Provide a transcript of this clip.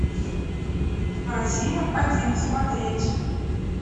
россия один смотреть